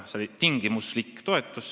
See oli tingimuslik toetus.